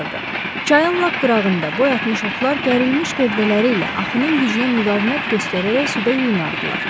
Çayın lap qırağında boy atmış otlar gərilmiş gövdələri ilə axının gücünə müqavimət göstərərək suda yuyunardılar.